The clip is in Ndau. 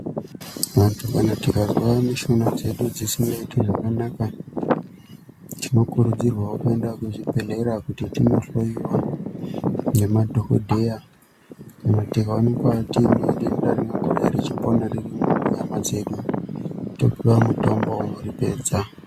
Vantu tikazwa mushuna dzedu dzisingaiti zvakanaka tinokuridzirwa wo kuenda kuzvbhehlera kuti tino hloyiwa nemadhokodheya kana tikaoneka tinedenda rinenge richipona riri munyama dzedu topiwa mutombo unoripedza.